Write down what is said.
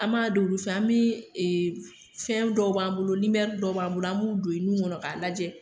An b'a dɔn olu fɛ ,an bi ee fɛn dɔw b'an bolo dɔw b'an bolo an b'u don i nun kɔnɔ ka lajɛ.